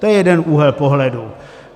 To je jeden úhel pohledu.